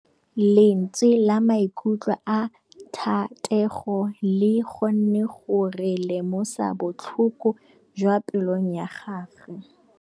Lentswe la maikutlo a Thategô le kgonne gore re lemosa botlhoko jwa pelô ya gagwe.